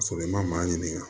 Ka sɔrɔ i ma maa ɲininka